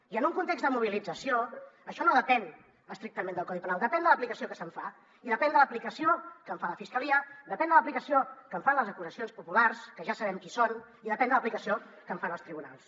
i en un context de mobilització això no depèn estrictament del codi penal depèn de l’aplicació que se’n fa i depèn de l’aplicació que en fa la fiscalia depèn de l’aplicació que en fan les acusacions populars que ja sabem qui són i depèn de l’aplicació que en fan els tribunals